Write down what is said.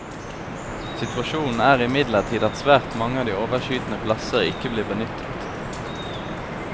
Situasjonen er imidlertid at svært mange av de overskytende plasser ikke blir benyttet.